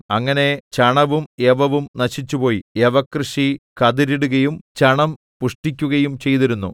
അങ്ങനെ ചണവും യവവും നശിച്ചുപോയി യവകൃഷി കതിരിടുകയും ചണം പുഷ്പിക്കുകയും ചെയ്തിരുന്നു